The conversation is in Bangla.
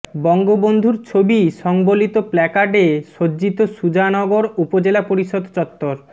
বঙ্গবন্ধুর ছবি সংবলিত প্ল্যাকার্ডে সজ্জিত সুজানগর উপজেলা পরিষদ চত্বর